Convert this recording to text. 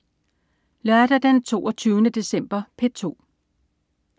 Lørdag den 22. december - P2: